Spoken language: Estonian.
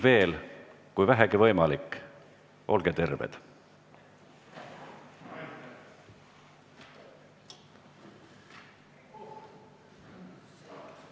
Veel, kui vähegi võimalik, olge terved!